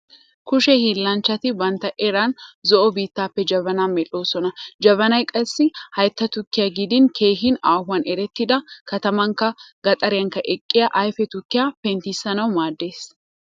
Kushe hiillanchchati bantta eran zo'o biittaappe jabana medhdhoosona. Jabanay qassi haytta tukkiya gidin keehi aahuwan erettida katamaanikka gaxariyan eqqiya ayfe tukkiya penttissanawu maaddees.